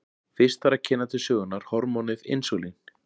Fyrst þarf að kynna til sögunnar hormónið insúlín.